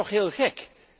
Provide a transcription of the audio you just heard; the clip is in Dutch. Dat is toch heel gek.